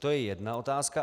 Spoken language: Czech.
To je jedna otázka.